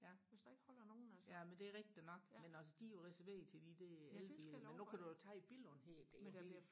ja ja men det er rigtigt nok men altså de er jo reserveret til de der elbiler der men nu kan du jo tage Billund der